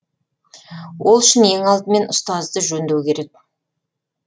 ол үшін ең алдымен ұстазды жөндеу керек